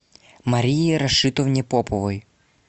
марии рашитовне поповой